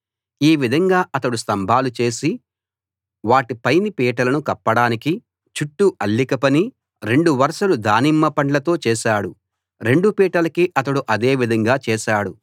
ఈ విధంగా అతడు స్తంభాలు చేసి వాటి పైని పీటలను కప్పడానికి చుట్టూ అల్లిక పని రెండు వరసలు దానిమ్మ పండ్లతో చేశాడు రెండు పీటలకీ అతడు అదే విధంగా చేశాడు